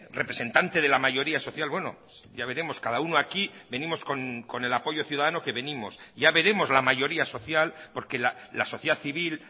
representante de la mayoría social bueno ya veremos cada uno aquí venimos con el apoyo ciudadano que venimos ya veremos la mayoría social porque la sociedad civil